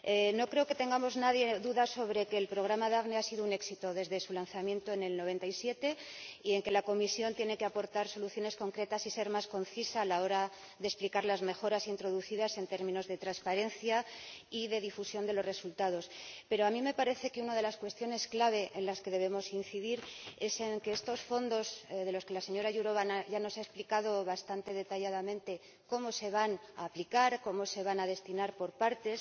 No creo que nadie dude de que el programa Daphne ha sido un éxito desde su lanzamiento en 1997 ni de que la Comisión tiene que aportar soluciones concretas y ser más concisa a la hora de explicar las mejoras introducidas en términos de transparencia y de difusión de los resultados. Pero a mí me parece que una de las cuestiones clave en la que debemos incidir es que muchos de estos fondos ―respecto de los que la señora Jourová ya nos ha explicado bastante detalladamente cómo se van a aplicar, cómo se van a destinar por partes―